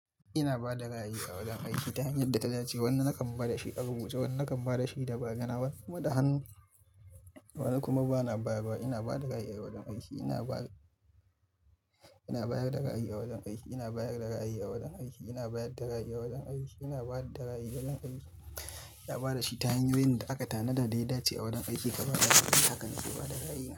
Ina ba da ra'ayi a wajen aiki ta hanyar da ta dace. Wani na kan ba da shi a rubuce, wani na kan ba da shi da magana, wani kuma da hannu, wani kuma bana bayarwa. Ina ba da ra'ayi a wajen aiki. Ina bayar, ina bayar da ra'ayi a wajen aiki. Ina bayar da ra'ayi a wajen aiki. Ina bayar da ra'ayi a wajen aiki. Ina bayar da ra'ayi wajen aiki. Ina ba da shi ta hanyoyin da aka tanada da ya dace a wajen aiki. Kuma haka na ke ba da ra'ayi na.